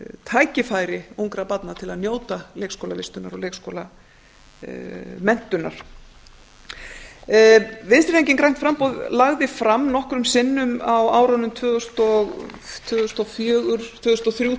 tækifæri ungra barna til að njóta leikskólavistunar og leikskólamenntunar vinstri hreyfingin grænt framboð lagði fram nokkrum sinnum á árunum tvö þúsund og þrjú